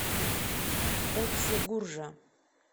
окси гуржа